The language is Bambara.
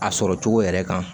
A sɔrɔ cogo yɛrɛ kan